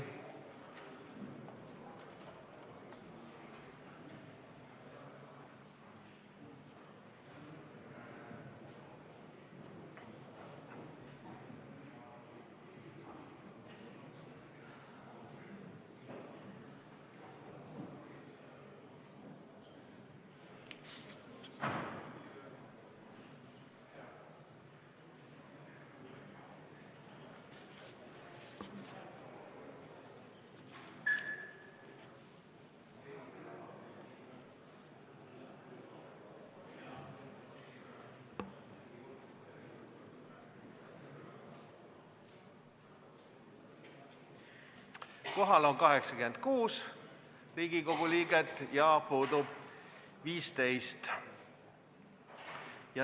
Kohaloleku kontroll Kohal on 86 Riigikogu liiget ja puudub 15.